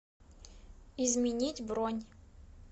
изменить бронь